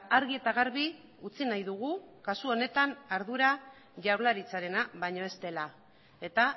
argi eta garbi utzi nahi dugu kasu honetan ardura jaurlaritzarena baino ez dela eta